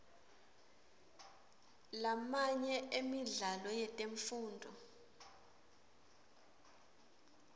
lamanye emidlalo yetemfundvo